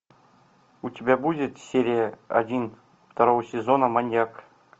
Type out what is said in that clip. у тебя будет серия один второго сезона маньяк